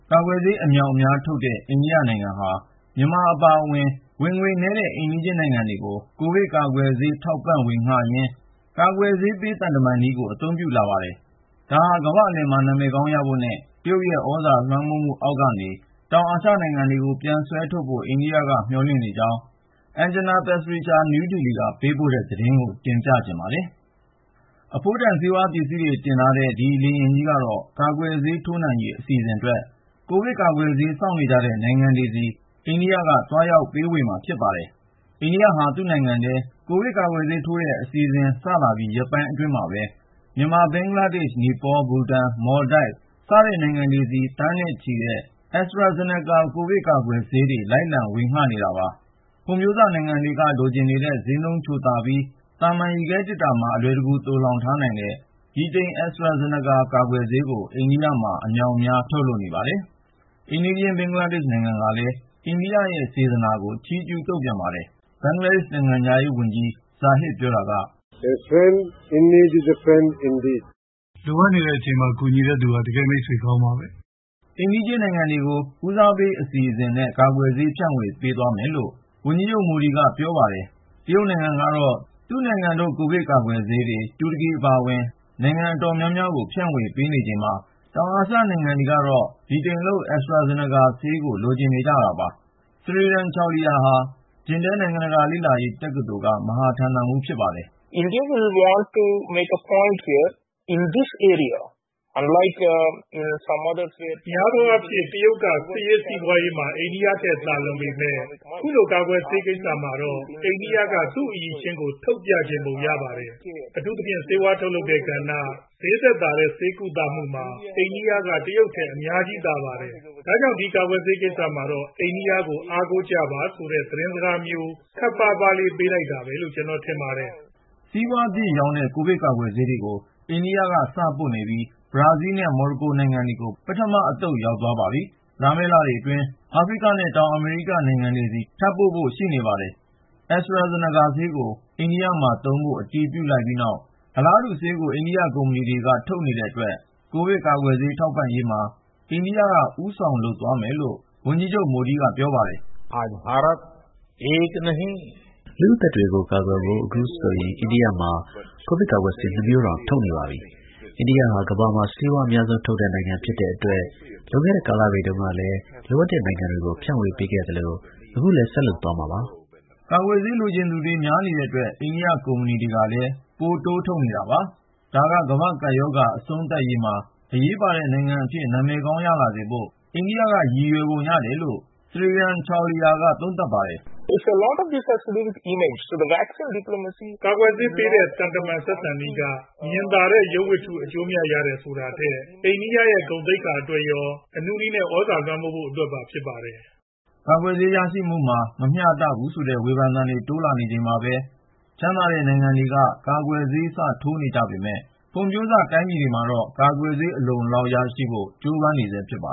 ကာကွယ်ဆေး အမြောက်အမြားထုတ်တဲ့ အိန္ဒိယနိုင်ငံဟာ မြန်မာအပါအဝင် ဝင်ငွေနည်းတဲ့ အိမ်နီးချင်းနိုင်ငံတွေကို ကိုဗစ်ကာကွယ်ဆေး ထောက်ပံ့ဝေငှရင်း "ကာကွယ်ဆေးပေး-သံတမန်နည်း" ကို အသုံးပြုလာပါတယ်။ ဒါဟာ ကမ္ဘာ့အလယ်မှာ နာမည်ကောင်းရလာဖို့နဲ့ တရုတ်ရဲ့ သြဇာလွှမ်းမိုးမှုအောက်ကနေ တောင်အာရှနိုင်ငံတွေကို ပြန်ဆွဲထုတ်ဖို့ အိန္ဒိယက မျှော်လင့်နေကြောင်း Anjana Pasricha နယူးဒေလီက ပေးပို့တဲ့သတင်းကို ကိုဉာဏ်ဝင်းအောင် တင်ပြထားပါတယ်။ အဖိုးတန်ဆုံး ဆေးပစ္စည်းတွေ တင်ဆောင်ထားတဲ့ ဒီလေယာဉ်ကြီးကတော့ ကာကွယ်ဆေးထိုးနှံရေး အစီအစဉ်အတွက် ကိုဗစ်ကာကွယ်ဆေး စောင့်နေကြတဲ့ နိုင်ငံတွေဆီ အိန္ဒိယက သွားရောက်ပေးဝေမှာ ဖြစ်ပါတယ်။ အိန္ဒိယဟာ သူ့နိုင်ငံထဲ ကိုဗစ်ကာကွယ်ဆေးထိုးတဲ့ အစီအစဉ် စလာပြီး ရက်ပိုင်းအတွင်းမှာပဲ မြန်မာ၊ ဘင်္ဂလားဒေ့ရှ်၊ နီပေါ၊ ဘူတန်၊ မော်လ်ဒိုက်၊ Seychelles နဲ့ Mauritius စတဲ့နိုင်ငံတွေဆီ သန်းနဲ့ချီတဲ့ AstraZeneca ကိုဗစ်ကာကွယ်ထိုးဆေးတွေ လိုက်လံဝေငှနေတာပါ။ ဖွံ့ဖြိုးစနိုင်ငံတွေက လိုချင်နေတဲ့ ဈေးနှုန်းချိုသာပြီး သာမန်ရေခဲသေတ္တာမှာ အလွယ်တကူ သိုလှောင်ထားနိုင်တဲ့ ဗြိတိန် AstraZeneca ကာကွယ်ဆေးကို အိန္ဒိယမှာ အမြောက်အမြား ထုတ်နေပါတယ်။ ကိုဗစ်ဆေး လက်ခံရရှိတဲ့ အိမ်နီးချင်း ဘင်္ဂလားဒေ့ရှ်နိုင်ငံကလည်း အိန္ဒိယရဲ့ စေတနာကို ချီးကျူးလေးစားကြောင်း ဘင်္ဂလားဒေ့ရှ် ကျန်းမာရေးဝန်ကြီး Zahid Maleque က ပြောပါတယ်။ “လိုအပ်နေချိန်မှာ အကူအညီပေးတဲ့သူက တကယ့် မိတ်ဆွေကောင်းပါပဲ။” အိမ်နီးချင်းနိုင်ငံတွေကို ဦးစားပေးအစီအစဉ်နဲ့ ကာကွယ်ဆေး ဖြန့်ဝေပေးသွားမယ်လို့ အိန္ဒိယဝန်ကြီးချုပ် Narendra Modi က ပြောပါတယ်။ တရုတ်နိုင်ငံကတော့ သူ့နိုင်ငံထုတ် ကိုဗစ်ကာကွယ်ဆေးတွေ တူရကီအပါအဝင် နိုင်ငံအတော်များများကို ဖြန့်ဝေပေးနေချိန်မှာ တောင်အာရှနိုင်ငံတွေကတော့ ဗြိတိန်လုပ် AstraZeneca ထိုးဆေးကို လိုချင်နေကြတာပါ။ Sreeram Chaulia ဟာ Jindal နိုင်ငံတကာလေ့လာရေး တက္ကသိုလ်က မဟာဌာနမှူး ဖြစ်ပါတယ်။ “များသောအားဖြင့် တရုတ်က စစ်ရေး၊ စီးပွားရေးမှာ အိန္ဒိယထက် သာလွန်ပေမယ့် ခုလို ကာကွယ်ဆေးကိစ္စမှာတော့ အိန္ဒိယက သူ့အရည်အချင်းကို ထုတ်ပြချင်ပုံရပါတယ်။ အထူးသဖြင့် ဆေးဝါးထုတ်တဲ့ကဏ္ဍ၊ ဈေးသက်သာတဲ့ ဆေးကုသမှုတွေမှာ အိန္ဒိယက တရုတ်ထက် အများကြီးသာပါတယ်။ ဒါကြောင့် ဒီကာကွယ်ဆေးကိစ္စမှာတော့ အိန္ဒိယကို အားကိုးကြပါဆိုတဲ့ သတင်းစကားမျိုး ခပ်ပါးပါးလေး ပေးလိုက်တာပဲလို့ ကျနော်ထင်ပါတယ်။” စီးပွားဖြစ်ရောင်းတဲ့ ကိုဗစ်ကာကွယ်ဆေးတွေကို အိန္ဒိယက စပို့နေပြီး ဘရာဇီးလ်နဲ့ မော်ရိုကိုနိုင်ငံတွေကို ပထမအသုတ်အဖြစ် ရောက်သွားပါပြီ။ လာမယ့်လတွေမှာ အာဖရိကနဲ့ တောင်အမေရိက နိုင်ငံတွေဆီ ထပ်ပို့ဖို့ ရှိနေပါတယ်။ AstraZeneca ဆေးကို အိန္ဒိယမှာသုံးဖို့ အတည်ပြုလိုက်ပြီးနောက် အလားတူဆေးကို အိန္ဒိယကုမ္ပဏီတခုက အမြောက်အမြား ထုတ်နေတဲ့အတွက် ကိုဗစ်ကာကွယ်ဆေး ထောက်ပံ့ရေးမှာ အိန္ဒိယက ဦးဆောင်လုပ်သွားနိုင်မယ်လို့ ဝန်ကြီးချုပ် Narendra Modi က ပြောပါတယ်။ “လူ့အသက်တွေကို ကာကွယ်ဖို့ အခုဆိုရင် အိန္ဒိယမှာ ကိုဗစ်ကာကွယ်ဆေး ၂ မျိုးတောင် ထုတ်နေပါပြီ။ အိန္ဒိယဟာ ကမ္ဘာမှာ ဆေးဝါးအများဆုံးထုတ်တဲ့ နိုင်ငံဖြစ်တဲ့အတွက် လွန်ခဲ့တဲ့ကာလတွေတုန်းကလည်း လိုအပ်တဲ့နိုင်ငံတွေကို ဖြန့်ဝေပေးခဲ့သလို အခုလည်း ဆက်လုပ်သွားမှာပါ။” ကာကွယ်ဆေးလိုချင်သူတွေ များနေတဲ့အတွက် အိန္ဒိယကုမ္ပဏီတွေကလည်း ပိုတိုးမြှင့် ထုတ်နေတာပါ။ ဒါက ကမ္ဘာ့ကပ်ရောဂါ အဆုံးသတ်ရေးမှာ အရေးပါတဲ့နိုင်ငံအဖြစ် နာမည်ကောင်းရလာစေဖို့ အိန္ဒိယက ရည်ရွယ်နေပုံရတယ်လို့ Sreeram Chaulia က သုံးသပ်ပါတယ်။ “ကာကွယ်ဆေးပေးတဲ့ သံတမန်ဆက်ဆံနည်းက မြင်သာတဲ့ ရုပ်ဝတ္ထုအကျိုးအမြတ် ရတယ်ဆိုတာထက် အိန္ဒိယရဲ့ ဂုဏ်သိက္ခာအတွက်ရော အနုနည်းနဲ့ သြဇာလွှမ်းမိုးနိုင်ဖို့အတွက်ပါ ဖြစ်ပါတယ်။” ကာကွယ်ဆေး ရရှိမှုမှာ မမျှတဘူးဆိုတဲ့ ဝေဖန်သံတွေ တိုးလာနေချိန်မှာပဲ ချမ်းသာတဲ့နိုင်ငံတွေက ကာကွယ်ဆေး စထိုးနေကြပေမယ့် ဖွံ့ဖြိုးစ တိုင်းပြည်တွေကတော့ ကာကွယ်ဆေး အလုံအလောက်ရဖို့ ကြိုးပမ်းနေဆဲ ဖြစ်ပါ